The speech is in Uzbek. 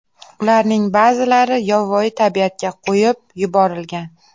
Ularning ba’zilari yovvoyi tabiatga qo‘yib yuborilgan.